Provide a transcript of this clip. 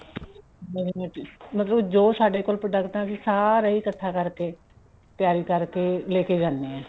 ਮਤਲਬ ਜੋ ਸਾਡੇ ਕੋਲ product ਹੈ ਅਸੀਂ ਸਾਰੇ ਈ ਇੱਕਠਾ ਕਰਕੇ ਤਿਆਰੀ ਕਰਕੇ ਲੈਕੇ ਜਾਣੇ ਆ